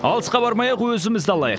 алысқа бармай ақ өзімізді алайық